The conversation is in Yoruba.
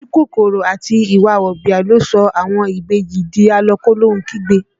Ojú kòkòrò àti ìwà wọ̀bìà ló sọ àwọn ìbejì di a lọ kólóhun kígbe